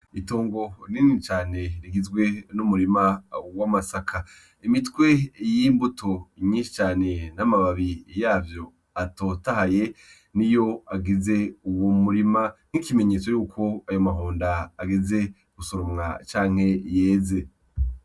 Itongo nini cane rigizwe n'umurima w'amasaka, imitwe y'imbuto myinshi cane n'amababi yavyo atotahaye niyo agize uwo murima, nk'ikimenyetso yuko ayo mahonda ageze gusoromwa canke yeze.